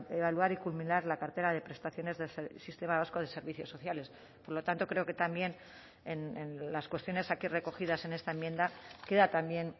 evaluar y culminar la cartera de prestaciones del sistema vasco de servicios sociales por lo tanto creo que también en las cuestiones aquí recogidas en esta enmienda queda también